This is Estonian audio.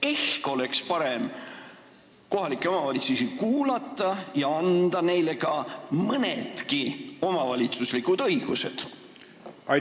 Ehk oleks parem kohalikke omavalitsusi kuulata ja anda neile mõnedki omavalitsuslikud õigused?